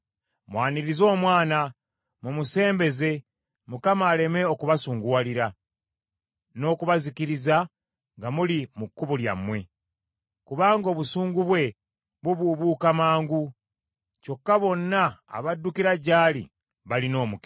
Mwanirize Omwana, mumusembeze Mukama aleme okubasunguwalira n’okubazikiriza nga muli mu kkubo lyammwe; kubanga obusungu bwe bubuubuuka mangu. Kyokka bonna abaddukira gy’ali balina omukisa.